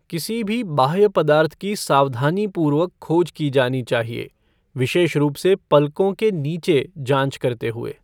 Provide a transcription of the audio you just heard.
किसी भी बाह्य पदार्थ की सावधानीपूर्वक खोज की जानी चाहिए, विशेष रूप से पलकों के नीचे जांच करते हुए।